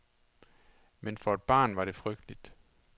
Men for et barn var det frygteligt.